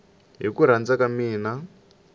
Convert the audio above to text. hi ku rhandza ka mina